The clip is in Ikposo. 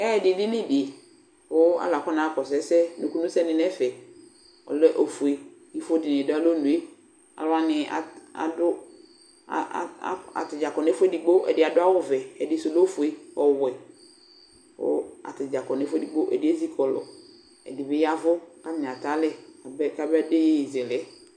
Ɛyɛdɩdini dɩ kʋ alʋ akɔnaɣa akɔsʋ ɛsɛ, nukunusɛnɩ nʋ ɛfɛ Ɔlɛ ofue, ifo dɩnɩ dʋ alɔnu yɛ Alʋ wanɩ at adʋ a a ata dza kɔ nʋ ɛfʋ edigbo Ɛdɩ adʋ awʋvɛ, ɛdɩsʋ lɛ ofue, ɔwɛ kʋ ata dza kɔ nʋ ɛfʋ edigbo Ɛdɩ ezi kɔlʋ, ɛdɩ bɩ ya ɛvʋ kʋ atanɩ atɛ alɛ kabɛ kabede iyeyezɛlɛ yɛ